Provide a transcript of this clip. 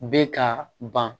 Bɛ ka ban